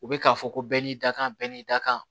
U bɛ k'a fɔ ko bɛɛ n'i ka kan bɛɛ n'i dakan